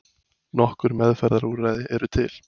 Nokkur meðferðarúrræði eru til.